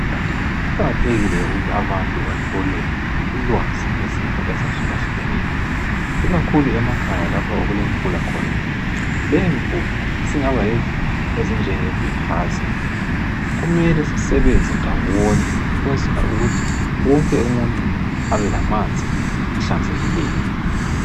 Kuqakathekile ukuthi abantu bathole ulwazi ngezifo ezahlukeneyo ikakhulu emakhaya lapho okulemifula khona. Leyimfula isingaba lezifo ezinjengebhelehaziya. Kumele sisebenze ndawonye ukwenzela ukuthi wonke umuntu abelamanzi ahlanzekileyo.